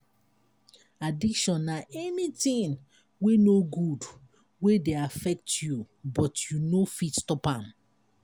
addiction na anything wey no good wey dey affect you but you no fit stop am.